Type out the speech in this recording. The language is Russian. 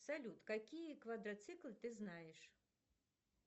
салют какие квадроциклы ты знаешь